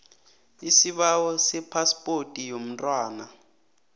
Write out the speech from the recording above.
isibawo sephaspoti yomntwana